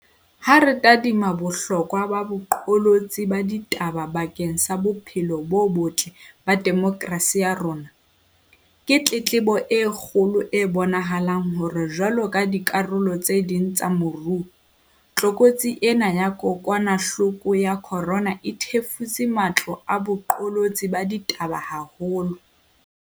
Ha re tadima bohlokwa ba boqolotsi ba ditaba bakeng sa bophelo bo botle ba demokrasi ya rona, ke tletlebo e kgolo e bonahalang hore jwaloka dikarolo tse ding tsa moruo, tlokotsi ena ya kokwanahloko ya corona e thefutse matlo a boqolotsi ba ditaba haholo.